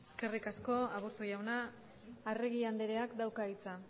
eskerrik asko aburto jauna arregi andereak dauka hitza